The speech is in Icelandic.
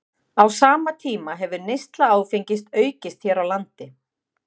Á sama tíma hefur neysla áfengis aukist hér á landi.